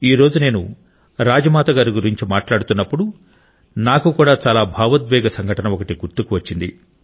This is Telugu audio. ఈ రోజు నేను రాజ్మాత గారి గురించి మాట్లాడుతున్నప్పుడు నాకు కూడా చాలా భావోద్వేగ సంఘటన ఒకటి గుర్తుకు వచ్చింది